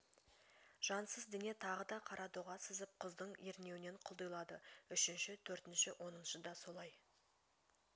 жансыз дене тағы да қара доға сызып құздың ернеуінен құлдилады үшінші төртінші оныншы да солай